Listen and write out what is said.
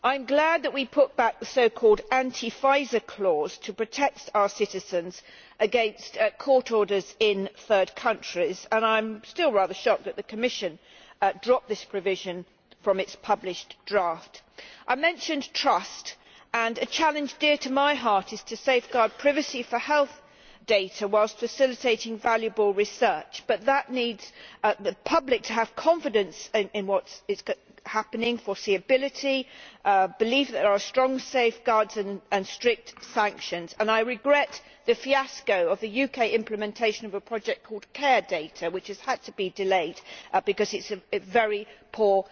I am glad that we put back the so called anti Pfizer clause to protect our citizens against court orders in third countries, and I am still rather shocked that the Commission dropped this provision from its published draft. I mentioned trust, and a challenge dear to my heart is to safeguard privacy for health data whilst facilitating valuable research. However, that requires the public to have confidence in what is happening foreseeability belief that there are strong safeguards in place and strict sanctions. I regret the fiasco of the UK implementation of a project called Care Data' which has had to be delayed because it has very